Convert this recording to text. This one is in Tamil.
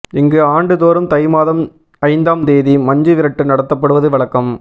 இங்கு ஆண்டு தோறும் தை மாதம் ஐந்தாம் தேதி மஞ்சு விரட்டு நடத்தப்படுவது வழக்கம்